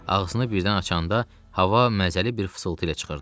Ağzını birdən açanda hava məzəli bir fısıltı ilə çıxırdı.